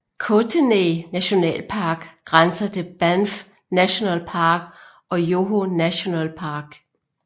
Kootenay nationalpark grænser til Banff National Park og Yoho National Park